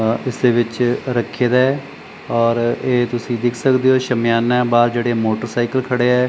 ਅ ਇਸਦੇ ਵਿੱਚ ਰੱਖੀ ਦਾ ਹੈ ਔਰ ਇਹ ਤੁਸੀ ਦੇਖ ਸਕਦੇ ਹੋ ਸ਼ਾਮਿਆਨਾ ਹੈ ਬਾਹਰ ਜਿਹੜੇ ਮੋਟਰਸਾਈਕਲ ਖੜਿਆ ਹੈ।